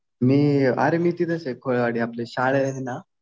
अरे मी तिथंच आहे. कोळेवाडी. आपली शाळा आहे ना.